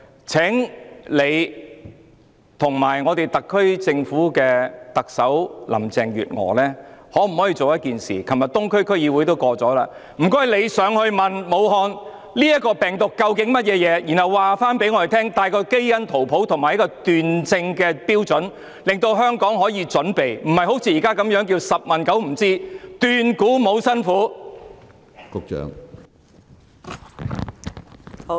請局長及特首林鄭月娥做一件事，昨天東區區議會通過了議案，請她們去武漢問明這究竟是甚麼病毒，然後告訴我們它的基因圖譜及斷症標準，讓香港可以作出準備，而不是好像現時般"十問九不知，斷估無辛苦"！